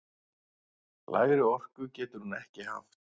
Lægri orku getur hún ekki haft!